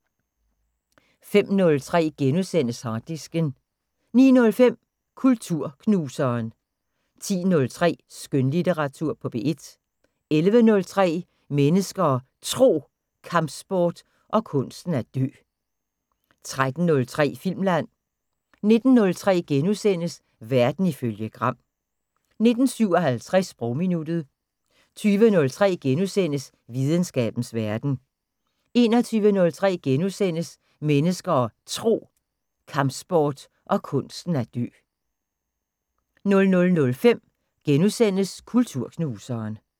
05:03: Harddisken * 09:05: Kulturknuseren 10:03: Skønlitteratur på P1 11:03: Mennesker og Tro: Kampsport og kunsten at dø 13:03: Filmland 19:03: Verden ifølge Gram * 19:57: Sprogminuttet 20:03: Videnskabens Verden * 21:03: Mennesker og Tro: Kampsport og kunsten at dø * 00:05: Kulturknuseren *